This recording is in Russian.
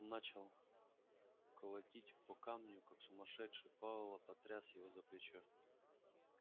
начал колотить по камню как сумасшедший пауэлл потряс его за плечо